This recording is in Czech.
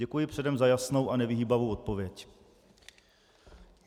Děkuji předem za jasnou a nevyhýbavou odpověď.